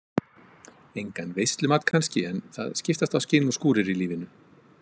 Engan veislumat kannski en það skiptast á skin og skúrir í lífinu.